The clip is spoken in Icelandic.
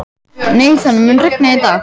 Nathan, mun rigna í dag?